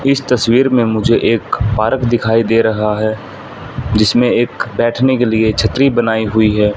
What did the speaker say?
इस तस्वीर में मुझे एक पार्क दिखाई दे रहा है जिसमें एक बैठने के लिए छतरी बनाई हुई है।